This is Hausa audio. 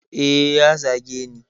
Eh ya zageni